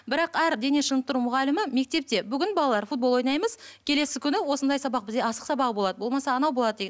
бірақ әр дене шынықтыру мұғалімі мектепте бүгін балалар футбол ойнаймыз келесі күні осындай сабақ бізде асық сабағы болады болмаса анау болады